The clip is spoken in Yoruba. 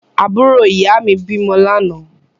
Àbúrò ìyáà mi bímọ lánàá.